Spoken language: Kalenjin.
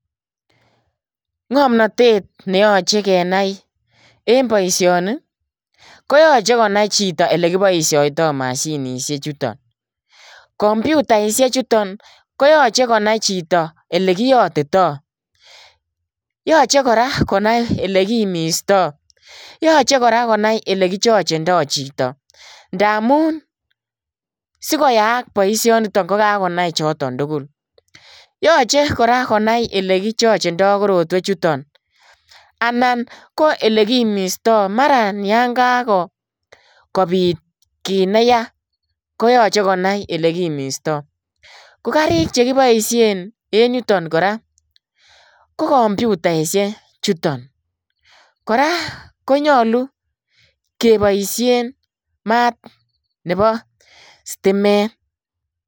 Ngamnatet ne yachei kenai en boisioni ii , koyachei konai chitoo ole kibaishaitoi mashinisheek chutoon, kompyutausheek chutoon koyachei konai chitoo ole kiyatitoi ,yachei kora konai ele kimistai yachei kora konai ole kichargegendai chitoo ndamuun sikoyaak boisioni nitoon ko kagonai chutoon tugul, yachei kora ole kichargegendai koroitaan anan ko ole kimistaa maraan olan Kako kobiit kiit ne yaa koyachei konai ole kimistaa ko kariit chekimiseen en yutoon kora ko kompyutausheek chutoon kora konyoluu kebaisheen maat nebo stimeet .